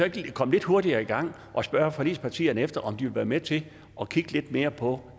ikke komme lidt hurtigere i gang og spørge forligspartierne om de vil være med til at kigge lidt mere på